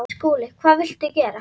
SKÚLI: Hvað viltu gera?